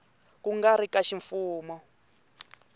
ku nga ri ka ximfumo